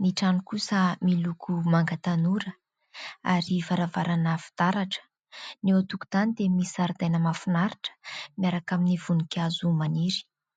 Ny trano kosa miloko manga tanora ary varavarana fitaratra. Ny eo antokotany dia misy zaridaina mahafinaritra miaraka amin'ny voninkazo maniry.